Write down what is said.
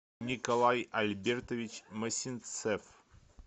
николай альбертович мосинцев